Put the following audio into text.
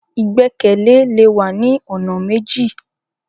Igbẹkẹle le wa ni ọ̀nà méjì.